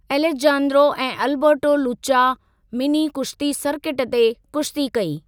Alejandro ऐं Alberto लुचा mini कुश्ती सर्किट ते कुश्ती कई।